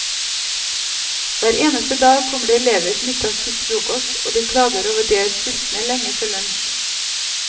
Hver eneste dag kommer det elever som ikke har spist frokost, og de klager over at de er sultne lenge før lunsj.